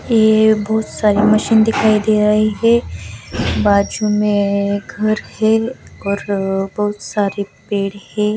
यह बहुत सारी मशीन दिखाई दे रही है बाजू में घर है और बहुत सारे पेड़ है.